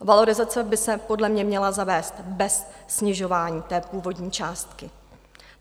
Valorizace by se podle mě měla zavést bez snižování té původní částky.